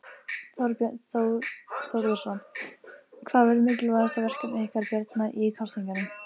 Þorbjörn Þórðarson: Hvað verður mikilvægasta verkefni ykkar Bjarna í kosningunum?